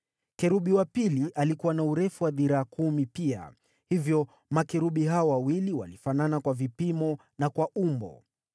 Kerubi wa pili alikuwa na urefu wa dhiraa kumi pia, hivyo makerubi hao wawili walifanana kwa vipimo na kwa umbo.